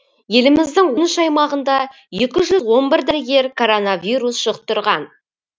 еліміздің он үш аймағында екі жүз он бір дәрігер коронавирус жұқтырған